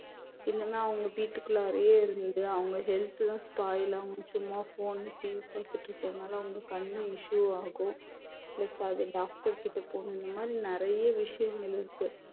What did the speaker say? இல்லைன்னா அவங்க வீட்டுக்குள்ளாறயே இருந்து அவங்க health எல்லாம் spoil ஆகும் சும்மா phone TV பாத்துட்டு இருக்கறதுனால அவங்க கண்ணு issue ஆகும் plus அது doctor கிட்ட போகணும் இந்த மாரி நிறைய விஷயங்கள் இருக்கு